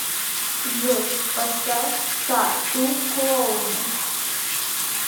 джой поставь т а т у клоуны